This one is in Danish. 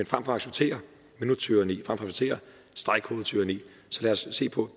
for at acceptere minuttyranni at acceptere stregkodetyranni så lad se på